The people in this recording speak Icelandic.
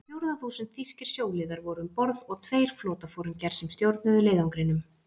Á fjórða þúsund þýskir sjóliðar voru um borð og tveir flotaforingjar, sem stjórnuðu leiðangrinum.